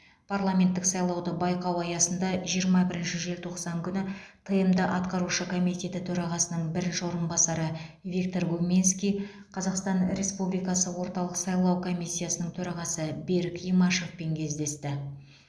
парламенттік сайлауды байқау аясында жиырма бірінші желтоқсан күні тмд атқарушы комитеті төрағасының бірінші орынбасары виктор гуминский қазақстан республикасы орталық сайлау комиссиясының төрағасы берік имашевпен кездесті